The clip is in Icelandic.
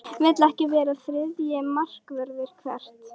Vill ekki vera þriðji markvörður Hvert?